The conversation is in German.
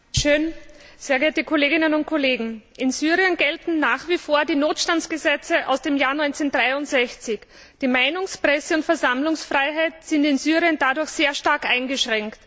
Frau Präsidentin, sehr geehrte Kolleginnen und Kollegen! In Syrien gelten nach wie vor die Notstandsgesetze aus dem Jahr 1963. Die Meinungs Presse und Versammlungsfreiheit sind in Syrien dadurch sehr stark eingeschränkt.